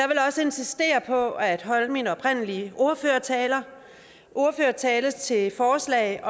også insistere på at holde min oprindelige ordførertale ordførertale til forslag